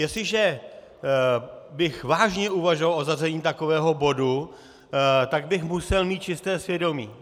Jestliže bych vážně uvažoval o zařazení takového bodu, tak bych musel mít čisté svědomí.